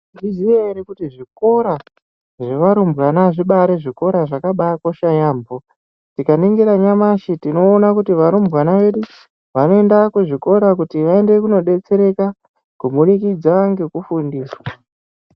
Mwaizviziya ere kuti zvikora zvevarumbwana zvibaari zvikora zvakaba akosha yaamho tikaningira nyamashi tinoona kuti varumbwana vedu vanoenda kuzvikora kuti vaende kunodetsereka kubudikidza ngekufundiswa.